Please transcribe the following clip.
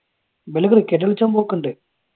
ഇവര് ക്രിക്കറ്റ് കളിച്ചാൻ പോക്കുണ്ട്